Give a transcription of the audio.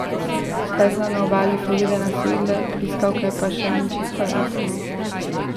Zakaj so na obali Floride nasedle pliskavke, pa še ni čisto jasno.